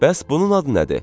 Bəs bunun adı nədir?